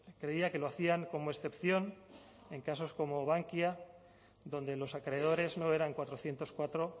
creía que lo hacían como excepción en casos como bankia donde los acreedores no eran cuatrocientos cuatro